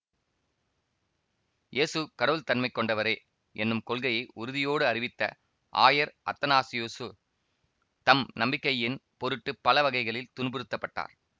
இயேசு கடவுள்தன்மை கொண்டவரே என்னும் கொள்கையை உறுதியோடு அறிவித்த ஆயர் அத்தனாசியுசு தம் நம்பிக்கையின் பொருட்டு பல வகைகளில் துன்புறுத்தப்பட்டார்